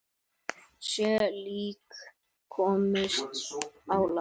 Sjö lík komust á land.